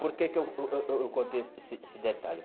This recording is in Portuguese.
Por que que eu contei esse esse detalhe?